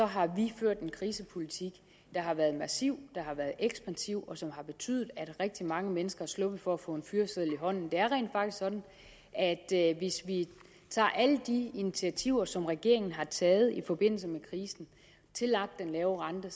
har vi ført en krisepolitik der har været massiv der har været ekspansiv og som har betydet at rigtig mange mennesker er sluppet for at få en fyreseddel i hånden det er rent faktisk sådan at at hvis vi tager alle de initiativer som regeringen har taget i forbindelse med krisen tillagt den lave rente